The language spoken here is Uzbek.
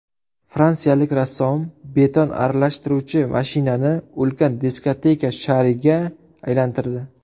Fransiyalik rassom beton aralashtiruvchi mashinani ulkan diskoteka shariga aylantirdi .